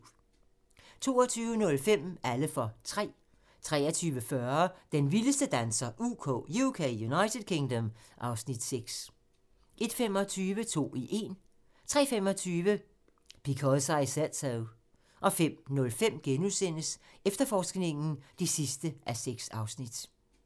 22:05: Alle for tre 23:40: Den vildeste danser UK (Afs. 6) 01:25: To i én 03:25: Because I Said So 05:05: Efterforskningen (6:6)*